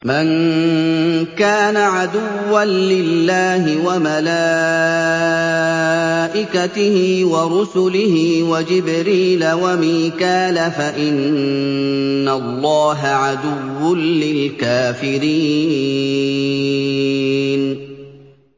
مَن كَانَ عَدُوًّا لِّلَّهِ وَمَلَائِكَتِهِ وَرُسُلِهِ وَجِبْرِيلَ وَمِيكَالَ فَإِنَّ اللَّهَ عَدُوٌّ لِّلْكَافِرِينَ